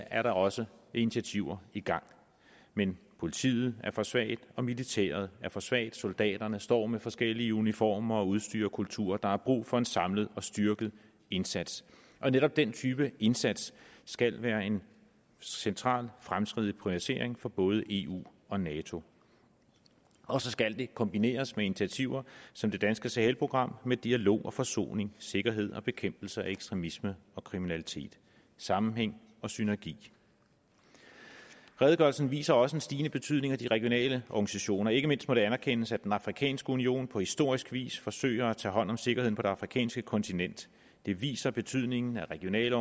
er der også initiativer i gang men politiet er for svagt og militæret er for svagt soldaterne står med forskellige uniformer udstyr og kulturer der er brug for en samlet og styrket indsats og netop den type indsats skal være en central fremtidig prioritering for både eu og nato og så skal den kombineres med initiativer som det danske sahelprogram med dialog og forsoning sikkerhed og bekæmpelse af ekstremisme og kriminalitet sammenhæng og synergi redegørelsen viser også en stigende betydning af de regionale organisationer ikke mindst må det anerkendes at den afrikanske union på historisk vis forsøger at tage hånd om sikkerheden på det afrikanske kontinent det viser betydningen af regionale